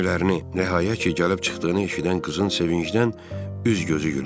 Əmilərini rəyə ki, gəlib çıxdığını eşidən qızın sevincdən üz-gözü gülürdü.